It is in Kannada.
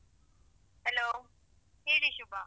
Hello ಹೇಳಿ ಶುಭಾ.